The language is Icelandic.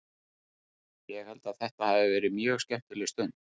Ég held að þetta hafi verið mjög skemmtileg stund.